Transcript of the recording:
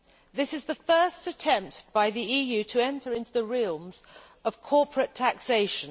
This is the first attempt by the EU to enter into the realms of corporate taxation.